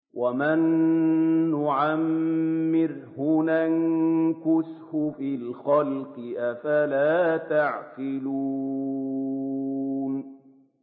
وَمَن نُّعَمِّرْهُ نُنَكِّسْهُ فِي الْخَلْقِ ۖ أَفَلَا يَعْقِلُونَ